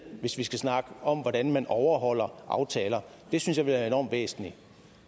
hvis vi skal snakke om hvordan man overholder aftaler det synes jeg er enormt væsentligt